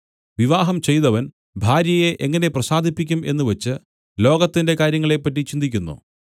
വിവാഹം ചെയ്തവൻ ഭാര്യയെ എങ്ങനെ പ്രസാദിപ്പിക്കും എന്നുവച്ച് ലോകത്തിന്റെ കാ‍ര്യങ്ങളെപ്പറ്റി ചിന്തിക്കുന്നു